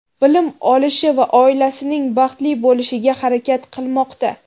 bilim olishi va oilasining baxtli bo‘lishiga harakat qilmoqda.